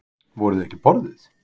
Voru þau ekki borðuð?